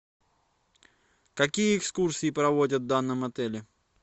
какие экскурсии проводят в данном отеле